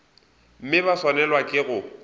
mme ba swanelwa ke go